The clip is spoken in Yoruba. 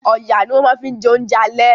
Ọ̀yà ni wọ́n ma fi jẹ oúnjẹ àlẹ́